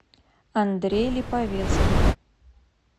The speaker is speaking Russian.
андрей липовецкий